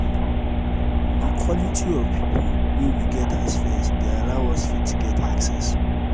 di quality of pipo wey we get as friend dey allow us fit get access